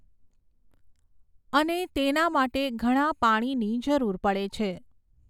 અને તેના માટે ઘણા પાણીની જરૂર પડે છે.